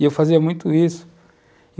E eu fazia muito isso.